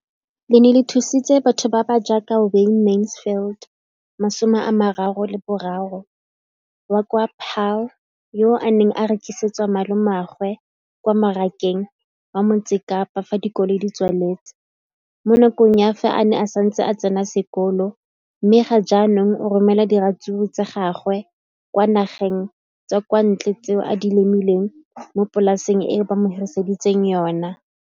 Leno le thusitse batho ba ba jaaka Wayne Mansfield, 33, wa kwa Paarl, yo a neng a rekisetsa malomagwe kwa Marakeng wa Motsekapa fa dikolo di tswaletse, mo nakong ya fa a ne a santse a tsena sekolo, mme ga jaanong o romela diratsuru tsa gagwe kwa dinageng tsa kwa ntle tseo a di lemileng mo polaseng eo ba mo hiriseditseng yona.